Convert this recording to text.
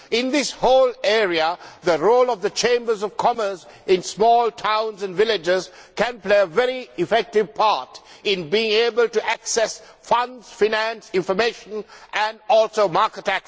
In this whole area, the role of the chambers of commerce in small towns and villages can play a very effective part in being able to access funds, finance, information and also the market.